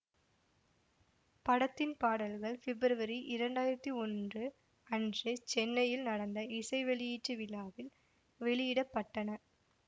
படத்தின் பாடல்கள் பிப்ரவரி இரண்டாயிரத்தி ஒன்று அன்று சென்னையில் நடந்த இசை வெளியீட்டு விழாவில் வெளியிட பட்டன